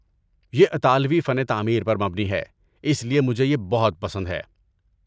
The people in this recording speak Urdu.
یہ اطالوی فن تعمیر پر مبنی ہے، اس لیے مجھے یہ بہت پسند ہے۔